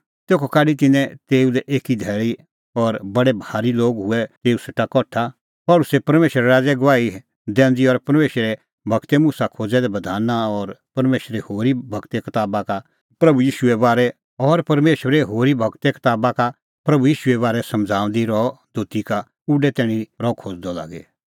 तेखअ काढी तिन्नैं तेऊ लै एक धैल़ी और बडै भारी लोग हुऐ तेऊ सेटा कठा पल़सी परमेशरे राज़े गवाही दैंदी और परमेशरे गूर मुसा खोज़ै दै बधाना और परमेशरे होरी गूरे कताबा का प्रभू ईशूए बारै समझ़ाऊंदी रहअ दोती का उडै तैणीं रह खोज़दअ लागी